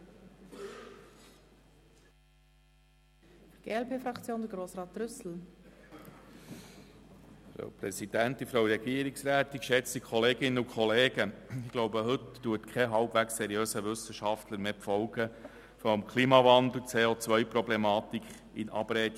Ich glaube, heute wird kein seriöser Wissenschaftler die Folgen des Klimawandels und die CO-Problematik in Abrede stellen.